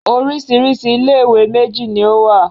Oríṣiríṣi ilé-ìwé méjì ni ó wà.